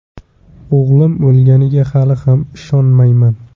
O‘g‘lim o‘lganiga hali ham ishonmayman.